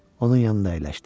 Onun yanında əyləşdi.